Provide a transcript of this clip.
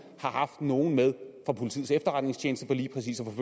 har haft nogle med fra politiets efterretningstjeneste der lige præcis